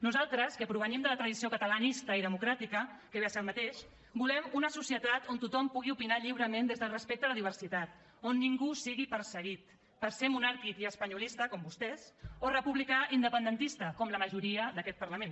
nosaltres que provenim de la tradició catalanista i democràtica que ve a ser el mateix volem una societat on tothom pugui opinar lliurement des del respecte a la diversitat on ningú sigui perseguit per ser monàrquic i espanyolista com vostès o republicà i independentista com la majoria d’aquest parlament